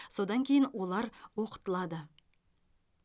содан кейін олар оқытылады